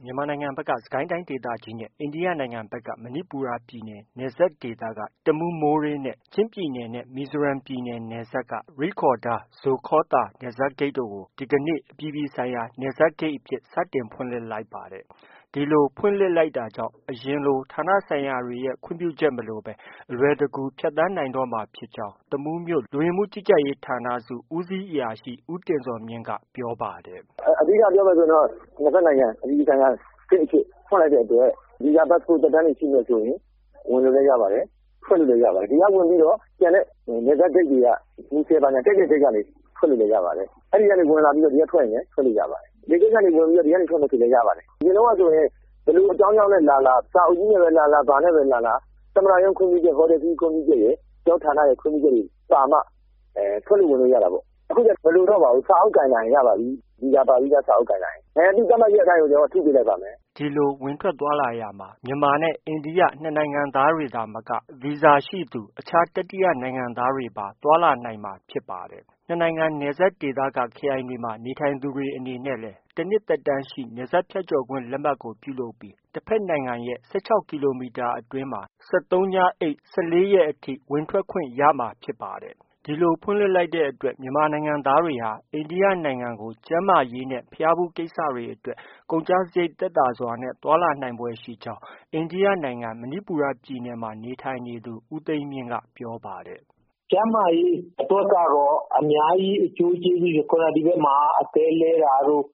။ မြန်မာနိုင်ငံဖက်က စစ်ကိုင်းတိုင်းဒေသကြီးနဲ့ အိန္ဒိယနိုင်ငံဖက်က မဏိပူရပြည်နယ် နယ်စပ်ဒေသက တမူး-မိုးရေး နဲ့ ချင်းပြည်နယ်နဲ့ မီဇိုရမ်ပြည်နယ် နယ်စပ်က ရိဒ်ခေါရ်ဒါ-ဇိုခေါသာ နယ်စပ်ဂိတ်တို့ကို ဒီကနေ့ အပြည်ပြည်ဆိုင်ရာ နယ်စပ်ဂိတ်အဖြစ် စတင်ဖွင့်လှစ်လိုက်ပါတယ်။ ဒီလိုဖွင့်လှစ်လိုက်တာကြောင့် အရင်လို ဌာနဆိုင်ရာတွေရဲ့ ခွင့်ပြုချက်မလိုဘဲ အလွယ်တကူ ဖြတ်သန်း နိုင်တော့မှာ ဖြစ်ကြောင်း တမူးမြို့ လူဝင်မှုကြီးကြပ်ရေးဌာနစု ဦးစီးအရာရှိ ဦးတင်ဇော်မြင့်က အခုလို ပြောပါ တယ်။ “ အဓိက ပြောမယ်ဆိုရင်တော့ အပြည်ပြည်ဆိုင်ရာ နယ်စပ်ဂိတ် အဖြစ်ဖွင့်လိုက်တဲ့အတွက် ဗီဇာ၊ ပတ်စ်ပို့ သက်တမ်းတွေ ရှိမယ်ဆိုရင် ဝင်လို့လည်း ရပါတယ်။ ထွက်လို့လည်း ရပါတယ်။ ဒီက ဝင်ပြီးတော့ ကျန်တဲ့နယ်စပ်ဂိတ်တွေက မူဆယ်ဘာညာ ကြိုက်တဲ့ ဂိတ်ကနေ ထွက်လို့လည်း ရပါတယ်။ အဲဒီကနေ ဝင်လာပြီး ဒီက ထွက်မယ်ဆိုရင်လည်း ထွက်လို့ ရပါတယ်။ လေဆိပ်ကနေဝင်ပြီး ဒီကနေထွက်မယ်ဆိုလည်း ရပါတယ်။ အရင်တုံးကဆိုရင် ဘယ်လိုအကြောင်းကြောင့်နဲ့လာလာ စာအုပ်ကြီးနဲ့ပဲလာလာ ဘာနဲ့ပဲလာလာ သမ္မတရုံးခွင့်ပြုချက်ရယ်၊ ဟိုတယ်ခရီးခွင့်ပြုချက်ရယ်၊ ကျနော်တို့ဌာနရဲ့ခွင့်ပြုချက်တွေ ပါမှ ထွက်လို့ ဝင်လို့ရတာပေါ့။ အခုကျတော့ မလိုတော့ပါဘူး။ စာအုပ်ကိုင်လာရင် ရပါပြီ။ ဗီဇာပါပြီးသား စာအုပ်ကိုင်လာရင် သူ့သတ်မှတ်ရက်အတိုင်း ကျနော်တို့က ထုပေးလိုက်ပါမယ်။” ဒီလို ဝင်ထွက်သွားလာရာမှာ မြန်မာ၊ အိန္ဒိယနှစ်နိုင်ငံသားတွေသာမက အခြား ဗီဇာရှိသူ တတိယနိုင်ငံသားတွေပါ သွားလာနိုင်မှာဖြစ်ပါတယ်။ နှစ်နိုင်ငံနယ်စပ်ဒေသက ခရိုင်တွေမှာ နေထိုင်သူတွေအနေနဲ့လည်း တနှစ်သက်တမ်းရှိ နယ်စပ်ဖြတ်ကျော်ခွင့်လက်မှတ်ပြုလုပ်ပြီး တဖက်နိုင်ငံရဲ့ ၁၆ကီလိုမီတာအတွင်းမှာ ၁၃ည နဲ့ ၁၄ရက်ကြာအထိ ဝင်ထွက်ခွင့် ရမှာဖြစ်ပါတယ်။ ဒီလို ဖွင့်လှစ်လိုက်တဲ့အတွက် မြန်မာနိုင်ငံသားတွေဟာ အိန္ဒိယနိုင်ငံကို ကျန်းမာရေးနဲ့ ဘုရားဖူးကိစ္စတွေ အတွက် ကုန်ကျစရိတ်သက်သာစွာ သွားလာနိုင်ဖွယ်ရှိကြောင်း အိန္ဒိယနိုင်ငံ မဏိပူရပြည်နယ်မှာ နေထိုင်နေသူ ဦးသိန်းမြင့်က ပြောပါတယ်။ “ကျန်းမာရေးအတွက်ကတော့ အများကြီးအကျိုးကျေးဇူးတွေ ခုန ဒီဖက်မှာ အသည်းလဲတာတို့